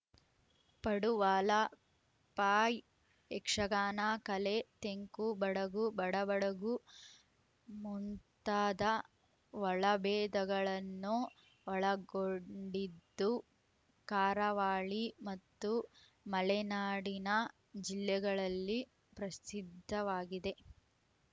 ಪಡುವಾಲಪಾಯ್ ಯಕ್ಷಗಾನ ಕಲೆ ತೆಂಕು ಬಡಗು ಬಡಾ ಬಡಗು ಮುಂತಾದ ಒಳಭೇದಗಳನ್ನು ಒಳಗೊಂಡಿದ್ದು ಕಾರಾವಳಿ ಮತ್ತು ಮಲೆನಾಡಿನ ಜಿಲ್ಲೆಗಳಲ್ಲಿ ಪ್ರಸಿದ್ಧವಾಗಿದೆ